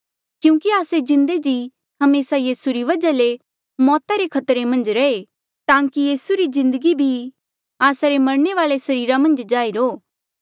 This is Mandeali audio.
क्यूंकि आस्से जिन्दे जी हमेसा यीसू री वजहा ले मौता रे खतरे मन्झ रहे ताकि यीसू री जिन्दगी भी आस्सा रे मरणे वाले सरीरा मन्झ जाहिर हो